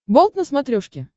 болт на смотрешке